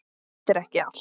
En þetta er ekki allt.